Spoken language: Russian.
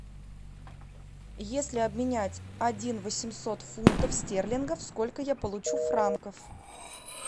если обменять один восемьсот фунтов стерлингов сколько я получу франков